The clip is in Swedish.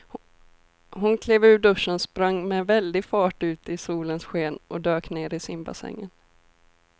Hon klev ur duschen, sprang med väldig fart ut i solens sken och dök ner i simbassängen.